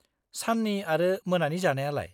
-साननि आरो मोनानि जानायालाय?